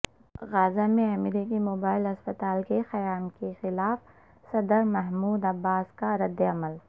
غزہ میں امریکی موبائل اسپتال کے قیام کے خلاف صدر محمود عباس کا رد عمل